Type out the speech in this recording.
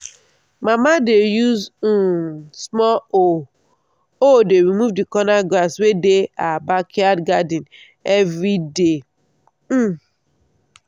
mama dey use um small hoe hoe dey remove the corner grass wey dey her backyard garden every day. um